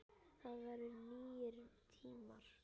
Það voru nýir tímar.